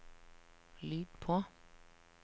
lyd på